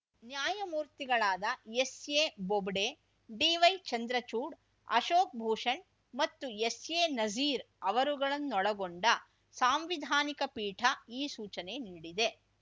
ನ್ಯಾಯಮೂರ್ತಿಗಳಾದ S A Bobde D Y Chandrachud Ashok Bhushan ಮತ್ತು S A Nazeer ಅವರುಗಳನ್ನೊಳಗೊಂಡ ಸಾಂವಿಧಾನಿಕ ಪೀಠ ಈ ಸೂಚನೆ ನೀಡಿದೆ